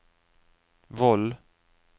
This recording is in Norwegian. Voll